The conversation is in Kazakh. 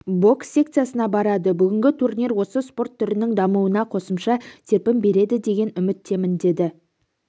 бокс секциясына барады бүгінгі турнир осы спорт түрінің дамуына қосымша серпін береді деген үміттемін деді